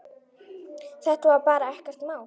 Þetta var bara ekkert mál.